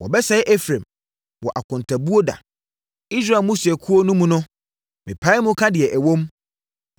Wɔbɛsɛe Efraim wɔ akontabuo da. Israel mmusuakuo no mu no mepae mu ka deɛ ɛwom.